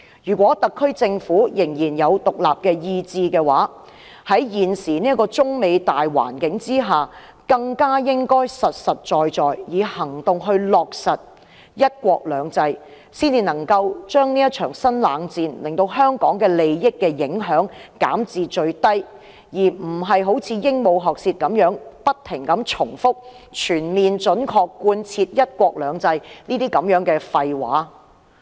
如果特區政府仍有獨立意志，在現時中美貿易戰的大環境下，更應實實在在地以行動落實"一國兩制"，才能將這場新冷戰對香港利益的影響減至最低，而非像鸚鵡學舌般不斷重複"全面準確貫徹'一國兩制'"等廢話。